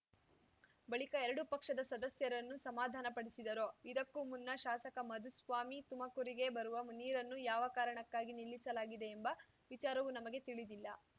ಬಳಿಕ ಎರಡು ಪಕ್ಷದ ಸದಸ್ಯರನ್ನು ಸಮಾಧಾನಪಡಿಸಿದರು ಇದಕ್ಕೂ ಮುನ್ನ ಶಾಸಕ ಮಧುಸ್ವಾಮಿ ತುಮಕೂರಿಗೆ ಬರುವ ನೀರನ್ನು ಯಾವ ಕಾರಣಕ್ಕಾಗಿ ನಿಲ್ಲಿಸಲಾಗಿದೆ ಎಂಬ ವಿಚಾರವು ನಮಗೆ ತಿಳಿದಿಲ್ಲ